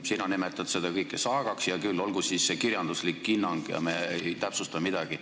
Sina nimetad seda kõike saagaks – hea küll, olgu siis see kirjanduslik hinnang, ärme täpsustame midagi.